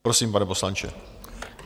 Prosím, pane poslanče.